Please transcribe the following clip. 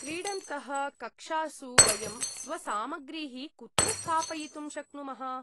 क्रीडन्तः, कक्षासु वयं स्वसामग्रीः कुत्र स्थापयितुं शक्नुमः ?